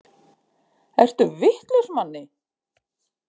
Ertu vitlaus Manni!